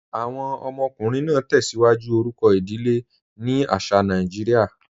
Awọn ọmọkùnrin naa tẹ́síwájú orúkọ idílé ni àṣà Nàìjíríà.